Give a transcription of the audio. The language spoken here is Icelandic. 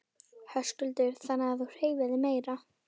Höskuldur: Þannig að þú hreyfir þig meira?